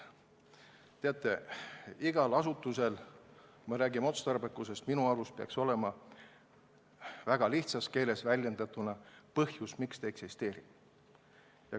Teate, kui me räägime otstarbekusest, siis minu arvates peaks igal asutusel olema väga lihtsas keeles väljendatuna põhjus, miks ta eksisteerib.